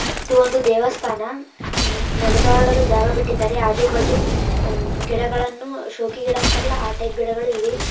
ಇದು ಒಂದು ದೇವಸ್ಥಾನ. ಹೂ ನಡೆದಾಡಲು ಜಾಗ ಬಿಟ್ಟಿದ್ದರೆ ಆಜು ಬಾಜು ಹೂ ಗಿಡಗಳನ್ನು ಶೋಕಿ ಗಿಡ ಅಂತಾರಲ್ಲ ಆ ಟೈಪ್ ಗಿಡಗಳು ಇವೆ --